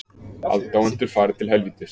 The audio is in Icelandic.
Aðdáendur fari til helvítis